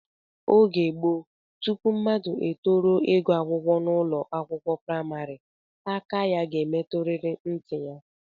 Oge gboo, tupu mmadụ etoruo ịgụ akwụkwọ n'ụlọakwụkwọ praịmarị, aka ya ga-emetụrịrị ntị ya